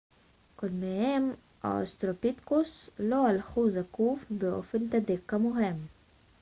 קודמיהם האוסטרלופיתקוס לא הלכו זקוף באופן תדיר כמוהם